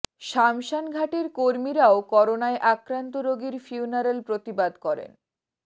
শামসান ঘাটের কর্মীরাও করোনায় আক্রান্ত রোগীর ফিউনারাল প্রতিবাদ করেন